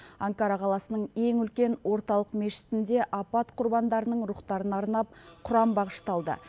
анкара қаласының ең үлкен орталық мешітінде апат құрбандарының рухтарына арнап құран бағышталды